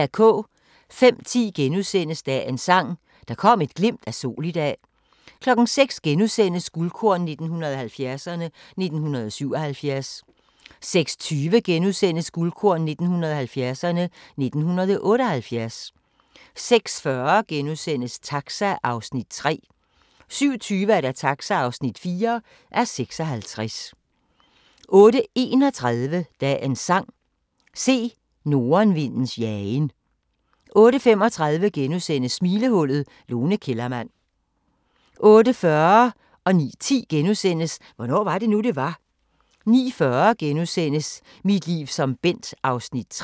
05:10: Dagens Sang: Der kom et glimt af sol i dag * 06:00: Guldkorn 1970'erne: 1977 * 06:20: Guldkorn 1970'erne: 1978 * 06:40: Taxa (3:56)* 07:20: Taxa (4:56) 08:31: Dagens Sang: Se nordenvindens jagen 08:35: Smilehullet – Lone Kellermann * 08:40: Hvornår var det nu, det var? * 09:10: Hvornår var det nu, det var? * 09:40: Mit liv som Bent (3:10)*